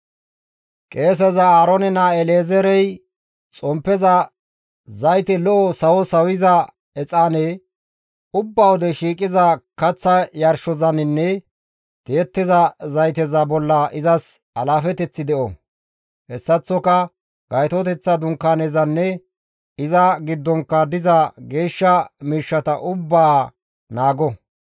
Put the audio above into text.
«Qeeseza Aaroone naa El7ezeerey xomppeza zayte lo7o sawo sawiza exaane, ubba wode shiiqiza kaththa yarshozaninne tiyettiza zayteza bolla izas alaafeteththi de7o; hessaththoka Gaytoteththa Dunkaanezanne iza giddonkka diza geeshsha miishshata ubbaa naago.»